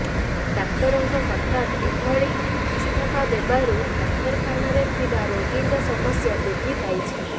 ଡାକ୍ତରଙ୍କ ହଠାତ ଏଭଳି ଇସ୍ତଫା ଦେବାରୁ ଡାକ୍ତରଖାନାରେ ଥିବା ରୋଗୀଙ୍କ ସମସ୍ୟା ବୃଦ୍ଧି ପାଇଛି